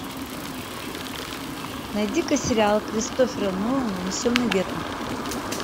найди ка сериал кристофера нолана унесенные ветром